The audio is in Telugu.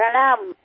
నమస్కారం